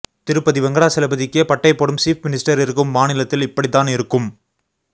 திருப்பதி வெங்கிடாசலபதிக்கே பட்டை போடும் சீஃப் மினிஸ்ட்டர் இருக்கும் மாநிலத்தில் இப்படித்தான் இருக்கும்